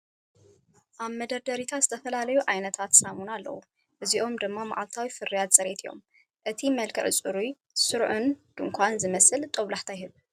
ኣብ መደርደሪታት ዝተፈላለዩ ዓይነታት ሳሙናታት ኣለዉ፣ እዚኦም ድማ መዓልታዊ ፍርያት ጽሬት እዮም። እቲ መልክዕ ጽሩይን ስሩዕን ድኳን ዝመስል ጦብላሕታ ይህብ።